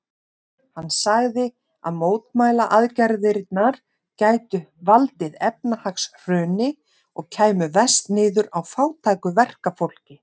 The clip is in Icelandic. Hann sagði að mótmælaaðgerðirnar gætu valdið efnahagshruni og kæmu verst niður á fátæku verkafólki.